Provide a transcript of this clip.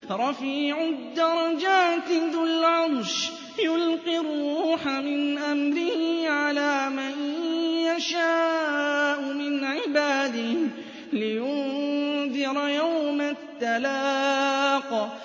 رَفِيعُ الدَّرَجَاتِ ذُو الْعَرْشِ يُلْقِي الرُّوحَ مِنْ أَمْرِهِ عَلَىٰ مَن يَشَاءُ مِنْ عِبَادِهِ لِيُنذِرَ يَوْمَ التَّلَاقِ